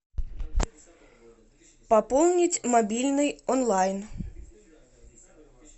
пополнить мобильный онлайн